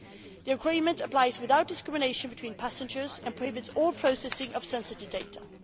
The agreement applies without discrimination between passengers and prohibits all processing of sensitive data.